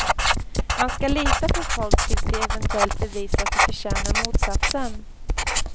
Man ska lita på folk tills de eventuellt bevisar att de förtjänar motsatsen.